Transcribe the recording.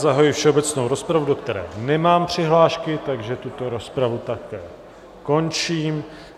Zahajuji všeobecnou rozpravu, do které nemám přihlášky, takže tuto rozpravu také končím.